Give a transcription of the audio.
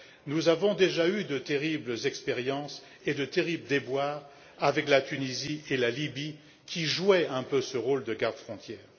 Nous avons déjà eu de terribles expériences et de terribles déboires avec la Tunisie et la Libye, qui jouaient un peu ce rôle de gardes frontières.